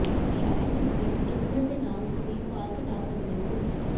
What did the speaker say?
ਸ਼ਾਇਦ ਇਸ ਦੀ ਪਿਛੋਕੜ ਦੇ ਨਾਲ ਤੁਸੀਂ ਭਾਰ ਘਟਾ ਸਕਦੇ ਹੋ